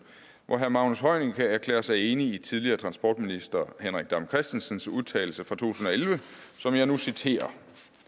hvor herre magnus heunicke erklærer sig enig i tidligere transportminister henrik dam kristensens udtalelse fra to tusind og elleve som jeg nu citerer